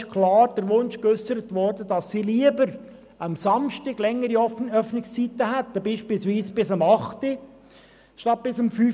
Dabei wurde klar der Wunsch geäussert, dass sie lieber am Samstag längere Öffnungszeiten hätten, beispielsweise bis acht statt bis um fünf.